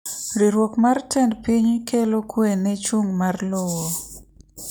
Riwruok mar tend piny kelo kwee ne chung' ma r lowo.